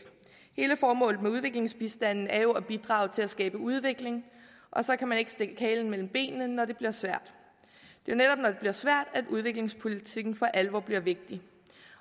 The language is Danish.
hele formålet med udviklingsbistanden er jo at bidrage til at skabe udvikling og så kan man ikke stikke halen mellem benene når det bliver svært det er netop når det bliver svært at udviklingspolitikken for alvor bliver vigtig